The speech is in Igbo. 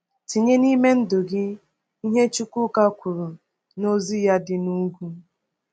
Tinye n’ime ndụ gị ihe Chukwuka kwuru n’Ozi ya dị n’ugwu.